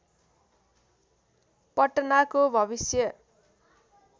पटनाको भविष्य